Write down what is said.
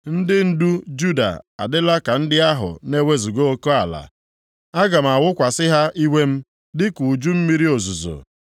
Ndị ndu Juda adịla ka ndị ahụ na-ewezuga oke ala, aga m awụkwasị ha iwe m dịka uju mmiri ozuzo.